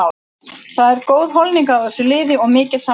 Það er góð holning á þessu liði og mikil samstaða.